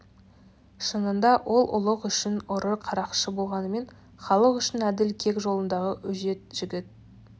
шынында ол ұлық үшін ұры қарақшы болғанмен халық үшін әділ кек жолындағы өжет жігіт